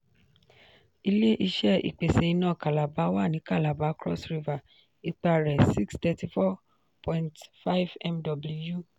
ilé-iṣé ìpèsè iná calabar wà ní calabar cross river; ipá rẹ: 634.5 mw.